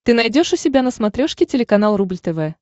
ты найдешь у себя на смотрешке телеканал рубль тв